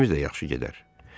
İndi işlərimiz də yaxşı gedər.